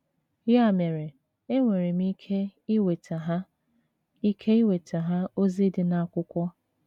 Ya mere, enwere m ike iweta ha ike iweta ha ozi di na akwụkwo